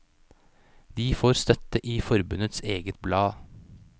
De får støtte i forbundets eget blad.